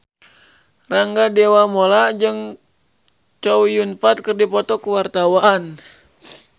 Rangga Dewamoela jeung Chow Yun Fat keur dipoto ku wartawan